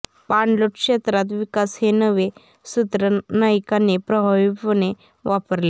पाणलोट क्षेत्रात विकास हे नवे सूत्र नाईकांनी प्रभावीपणे वापरले